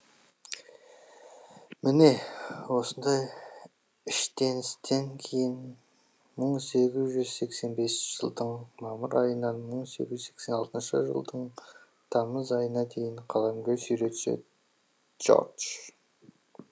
міне осындай іщденістен кейін мың сегіз жүз сексен бесінші жылдың мамыр айынан мың сегіз жүз сексен алтыншы жылдың тамыз айына дейін қаламгер суретші джордж